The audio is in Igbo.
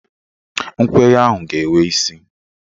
Nkwenye ahụ ga-enwe isi